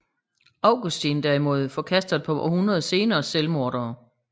Augustin derimod forkaster et par århundreder senere selvmordere